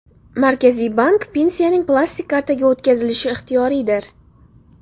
Markaziy bank: Pensiyaning plastik kartaga o‘tkazilishi ixtiyoriydir.